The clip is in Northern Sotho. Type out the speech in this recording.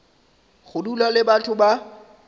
go dula le batho ba